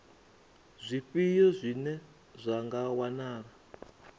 zwifhio zwine zwa nga wanala